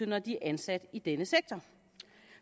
når de er ansat i denne sektor